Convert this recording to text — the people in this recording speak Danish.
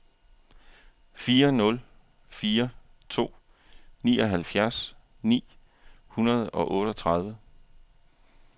fire nul fire to nioghalvfjerds ni hundrede og otteogtredive